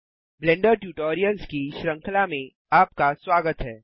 blender tutorials की श्रृंखला में आपका स्वागत है